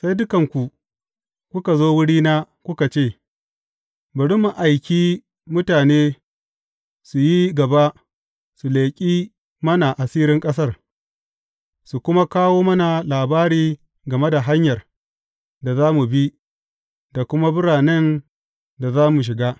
Sai dukanku kuka zo wurina kuka ce, Bari mu aiki mutane su yi gaba su leƙi mana asirin ƙasar, su kuma kawo mana labari game da hanyar da za mu bi, da kuma biranen da za mu shiga.